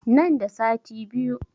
Nan da sati biyu